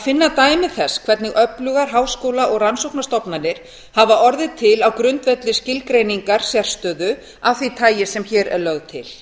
finna dæmi þess hvernig öflugar háskóla og rannsóknastofnanir hafa orðið til á grundvelli skilgreiningar sérstöðu af því tagi sem hér er lögð til